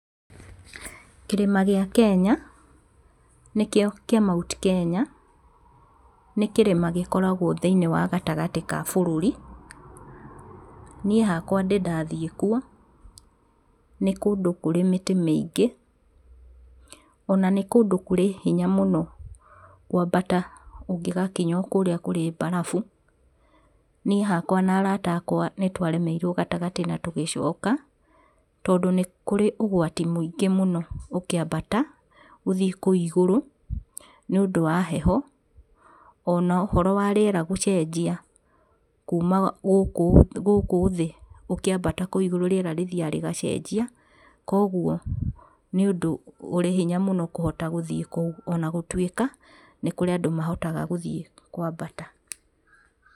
Kĩrĩma gĩa Kenya nĩkĩo kĩa Mt Kenya nĩ kĩrĩma gikoragwo thiinĩ wa gatagatĩ ka bũrũri. Niĩ hakwa ndĩ ndathiĩ kuo ni kũndũ kũrĩ mĩtĩ mĩingi ona nĩ kũndũ kũrĩ hinya mũno kwambata ũngĩgakinya kũrĩa kũrĩ barabu. Niĩ hakwa na arata akwa nĩ twaremeirwo gatagatĩ na tũgĩcoka tondũ nĩ kũrĩ ũgwati mũingĩ mũno ũngĩambata gũthiĩ kũu igũrũ nĩ ũndũ wa heho ona ũhoro wa rĩera gũcenjia. Kuma gũkũ thĩ ũkĩambata kũu igũrũ riera rĩthiaga rĩgacenjia koguo nĩ ũndũ ũrĩ hinya mũno kũhota gũthiĩ kũu ona gũtuĩka nĩ kũrĩ andũ mahotaga gũthiĩ kwambata.